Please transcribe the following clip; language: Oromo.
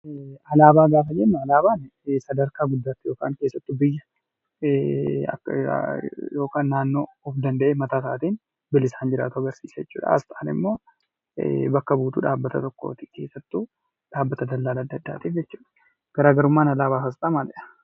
Alaabaa gaafa jennu, alaabaan sadarkaa guddaatti, keessattuu biyya yookaan naannoo of danda'ee ofii isaatiin bilisaan jiraatu argisiisa jechuudha. Asxaan immoo bakka buutuu dhaabbata tokkooti. Keessattuu dhaabbata daldalaa addaa addaa. Garaagarummaan alaabaa fi asxaa maalidha?